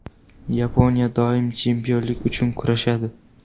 Yaponiya doim chempionlik uchun kurashadi.